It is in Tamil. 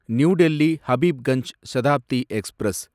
new Delhi Habibganj Shatabdi express